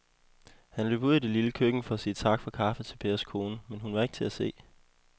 Han løb ud i det lille køkken for at sige tak for kaffe til Pers kone, men hun var ikke til at se.